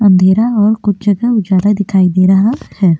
अंधेरा और कुछ जगह उजाला दिखाई दे रहा है।